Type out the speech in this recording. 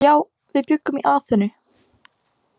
Já, við bjuggum í Aþenu.